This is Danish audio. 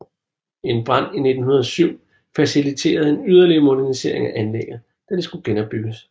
En brand i 1907 faciliterede en yderligere modernisering af anlægget da det skulle genopbygges